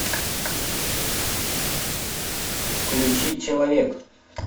включи человек